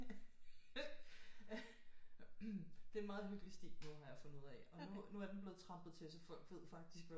Det er en meget hyggelig sti nu har jeg fundet ud af og nu er den blevet trampet til så folk ved faktisk hvad